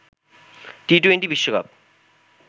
T twenty বিশ্বকাপ